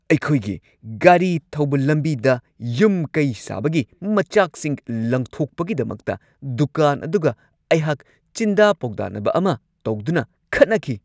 ꯑꯩꯈꯣꯏꯒꯤ ꯒꯥꯔꯤ ꯊꯧꯕ ꯂꯝꯕꯤꯗ ꯌꯨꯝ-ꯀꯩ ꯁꯥꯕꯒꯤ ꯃꯆꯥꯛꯁꯤꯡ ꯂꯪꯊꯣꯛꯄꯒꯤꯗꯃꯛꯇ ꯗꯨꯀꯥꯟ ꯑꯗꯨꯒ ꯑꯩꯍꯥꯛ ꯆꯤꯟꯗꯥ-ꯄꯥꯎꯗꯥꯅꯕ ꯑꯃ ꯇꯧꯗꯨꯅ ꯈꯠꯅꯈꯤ꯫